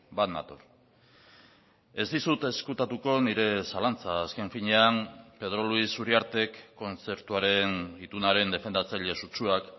bat nator ez dizut ezkutatuko nire zalantza azken finean pedro luis uriartek kontzertuaren itunaren defendatzaile sutsuak